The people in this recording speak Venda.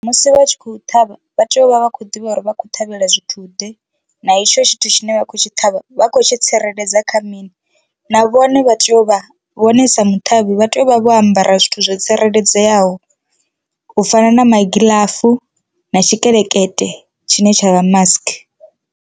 Musi vha tshi khou ṱhavha vha tea u vha vha khou ḓivha uri vha khou ṱhavhela zwithu ḓe na hetsho tshithu tshine vha khou tshi ṱhavha vha khou tshi tsireledza kha mini na vhone vha tea u vha vhone sa mu ṱhavhi vha tea u vha vho ambara zwithu zwo tsireledzeaho u fana na magiḽafu na tshikelekete tshine tsha vha mask.